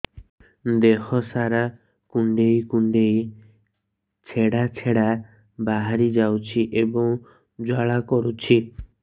ଦେହ ସାରା କୁଣ୍ଡେଇ କୁଣ୍ଡେଇ ଛେଡ଼ା ଛେଡ଼ା ବାହାରି ଯାଉଛି ଏବଂ ଜ୍ୱାଳା କରୁଛି